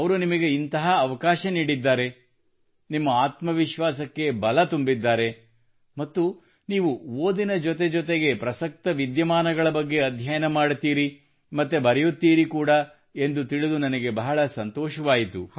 ಅವರು ನಿಮಗೆ ಇಂತಹ ಅವಕಾಶ ನೀಡಿದ್ದಾರೆ ನಿಮ್ಮ ಆತ್ಮವಿಶ್ವಾಸಕ್ಕೆ ಬಲತುಂಬಿದ್ದಾರೆ ಮತ್ತು ನೀವು ಓದಿನ ಜೊತೆ ಜೊತೆಗೆ ಪ್ರಸಕ್ತ ವಿದ್ಯಮಾನಗಳ ಬಗ್ಗೆ ಅಧ್ಯಯನ ಮಾಡುತ್ತೀರಿ ಮತ್ತು ಬರೆಯುತ್ತೀರಿ ಕೂಡಾ ಎಂದು ತಿಳಿದು ನನಗೆ ಬಹಳ ಸಂತೋಷವಾಯಿತು